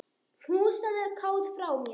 Knúsaðu Kát frá mér.